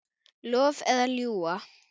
Lofa eða ljúga?